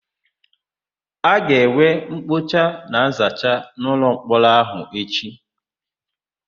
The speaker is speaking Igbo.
A ga-enwe mkpocha na nzacha n'ụlọmkpọrọ áhụ̀ echi.